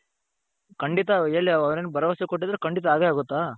ಖಂಡಿತ ಎಲ್ಲಿ ಅವರೇನು ಭರವಸೆ ಕೊಟ್ಟಿದ್ರು ಖಂಡಿತ ಆಗೇ ಆಗುತ್ತ ?